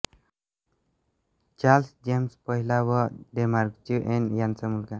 Charles James पहिला व डेन्मार्कची ऍन यांचा मुलगा